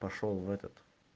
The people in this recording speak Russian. пошёл в этот